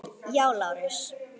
Já, Lárus!